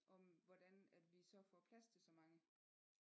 Om hvordan at vi så får plads til så mange